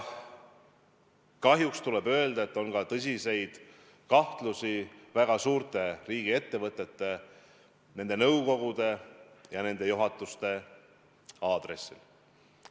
Kahjuks tuleb öelda, et on ka tõsiseid kahtlusi väga suurte riigiettevõtete, nende nõukogude ja nende juhatuste aadressil.